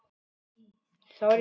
Tíu slagir.